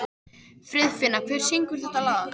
Friðfinna, hver syngur þetta lag?